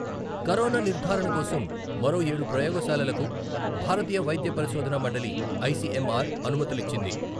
Corona నిర్ధారణ కోసం మరో ఏడు ప్రయోగశాలలకు భారతీయ వైద్య పరిశోధన మండలి, ఐసీఎంఆర్ అనుమతులిచ్చింది.